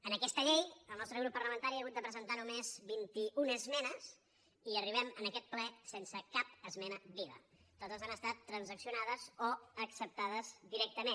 en aquesta llei el nostre grup parlamentari ha hagut de presentar només vint i una esmenes i arribem en aquest ple sense cap esmena viva totes han estat transaccionades o acceptades directament